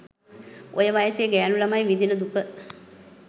ඔය වයසේ ගෑණු ළමයි විඳින දුක